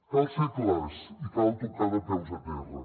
cal ser clars i cal tocar de peus a terra